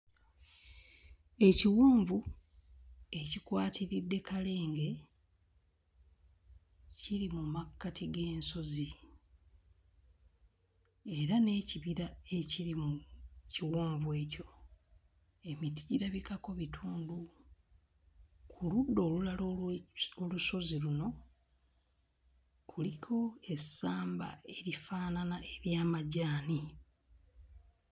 Ekiwonvu ekikwatiridde kalenge kiri mu makkati g'ensozi era n'ekibira ekiri mu kiwonvu ekyo, emiti girabikako bitundu. Ku ludda olulala olwe... olusozi luno kuliko essamba erifaanana ery'amajaani.